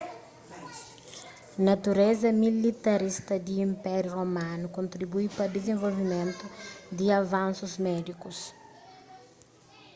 natureza militarista di inpériu romanu kontribui pa dizenvolvimentu di avansus médikus